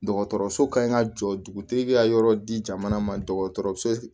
Dɔgɔtɔrɔso kan ka jɔ dugutigi ka yɔrɔ di jamana ma dɔgɔtɔrɔso